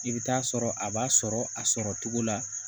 I bɛ taa sɔrɔ a b'a sɔrɔ a sɔrɔ cogo la